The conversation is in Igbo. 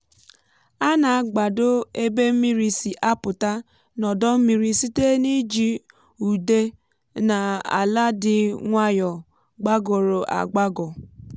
a na-agbado ebe mmiri si apụta n’odọ mmiri site n’iji ude um na ala dị nwayọ gbagọrọ agbagọ.